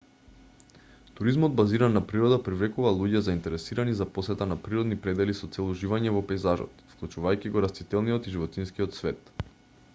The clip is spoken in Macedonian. туризмот базиран на природа привлекува луѓе заинтересирани за посета на природни предели со цел уживање во пејзажот вклучувајќи го растителниот и животинскиот свет